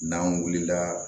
N'an wulila